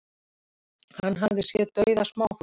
Hann hafi séð dauða smáfugla